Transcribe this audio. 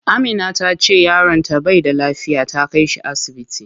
Amina tace yaron ta bai da lafiya, ta kai shi asibiti.